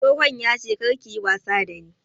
Tsohon yace karka yi wasa da ni!